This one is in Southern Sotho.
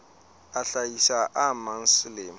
a hlahisa a mang selemo